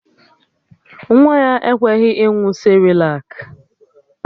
Nwa ya ekweghị ịṅụ sịrịlak